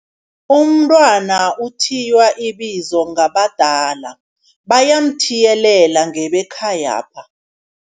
Umntwana uthiywa ibizo ngabadala, bayamuthiyelela ngebekhayapha.